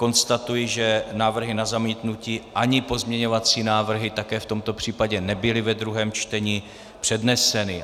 Konstatuji, že návrhy na zamítnutí ani pozměňovací návrhy také v tomto případě nebyly ve druhém čtení předneseny.